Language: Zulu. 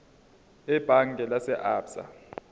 ebhange lase absa